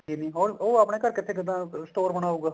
ਨੀ ਹੁਣ ਉਹ ਆਪਣੇ ਘਰ ਕਿੱਦਾਂ store ਬਨਾਉਗਾ